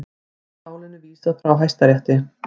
Því er málinu vísað frá Hæstarétti